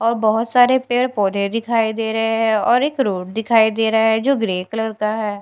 और बहोत सारे पेड़ पौधे दिखाई दे रहे हैं और एक रोड दिखाई दे रहा है जो ग्रीन कलर का है।